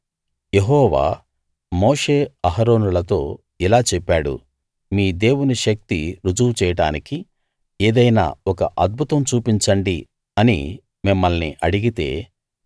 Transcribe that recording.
యెహోవా మోషే అహరోనులతో ఇలా చెప్పాడు మీ దేవుని శక్తి రుజువు చేయడానికి ఏదైనా ఒక అద్భుతం చూపించండి అని మిమ్మల్ని అడిగితే